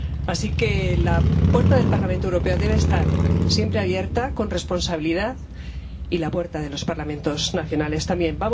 Así que la puerta del Parlamento Europeo debe estar siempre abierta, con responsabilidad, y la puerta de los Parlamentos nacionales también.